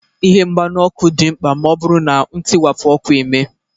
Ihe mgbanyụ ọkụ dị mkpa ma ọ bụrụ na ntiwapụ ọkụ emee